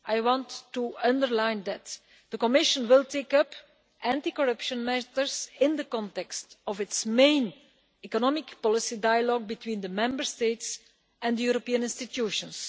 I want to underline that the Commission will take up anti corruption matters in the context of its main economic policy dialogue between the Member States and the European institutions.